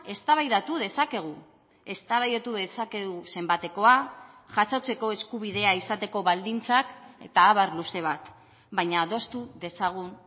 eztabaidatu dezakegu eztabaidatu dezakegu zenbatekoa jasotzeko eskubidea izateko baldintzak eta abar luze bat baina adostu dezagun